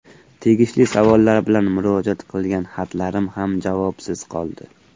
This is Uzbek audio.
Tegishli savollar bilan murojaat qilgan xatlarim ham javobsiz qoldi.